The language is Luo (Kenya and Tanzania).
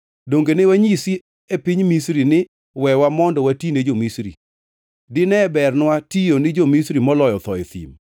Donge ne wanyisi e piny Misri ni, ‘Wewa, mondo watine jo-Misri?’ Dine bernwa tiyo ni jo-Misri moloyo tho e thim!”